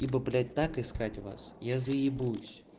либа блять так искать вас я заебусь